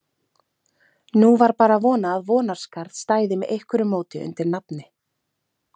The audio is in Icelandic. Nú var bara að vona að Vonarskarð stæði með einhverju móti undir nafni.